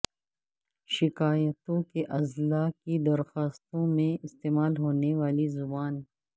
شکایتوں کے ازالہ کی درخواستوں میں استعمال ہونے والی زبان